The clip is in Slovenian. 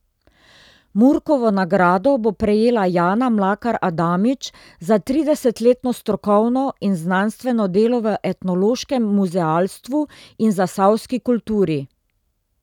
Murkovo nagrado bo prejela Jana Mlakar Adamič za tridesetletno strokovno in znanstveno delo v etnološkem muzealstvu in v zasavski kulturi.